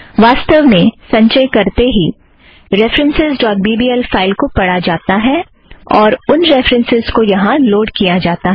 वास्तव में संचय करते ही references dot B B L file को पढ़ा जाता है और उन रेफ़रन्सस् को यहाँ लोड़ किया जाता है